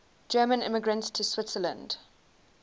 german immigrants to switzerland